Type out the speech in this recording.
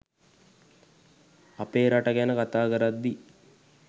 අපේ රට ගැන කථා කරද්දි.